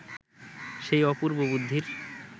সেই অপূর্ব বুদ্ধির